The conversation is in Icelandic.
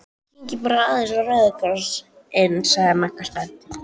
Kíkjum bara aðeins á Rauða Kross- inn sagði Magga spennt.